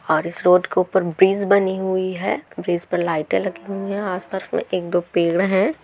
और इस रोड को ऊपर ब्रिज बनी हुई है ब्रिज पर लाइटें लगी हुई है आस पास में एक दो पेड़ है।